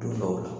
Don dɔw la